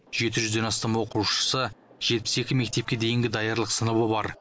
жеті жүзден астам оқушысы жетпіс екі мектепке дейінгі даярлық сыныбы бар